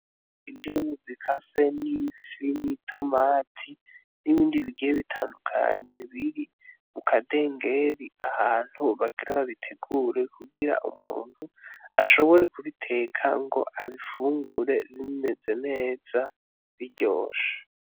Indimu zikase, n'ifi, n'itomati, n'ibindi bigiye bitandukanye biri mu kadengeri, ahantu bagira babitegure, kugira umuntu ashobore kubiteka ngo abifungure bimeze neza, biryoshe.